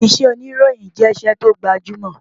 Iṣẹ́ òníròyìn jẹ́ iṣẹ́ tó gbajúmọ̀